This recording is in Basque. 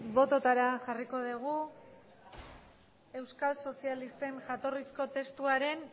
botoetara jarriko dugu euskal sozialisten jatorrizko testuaren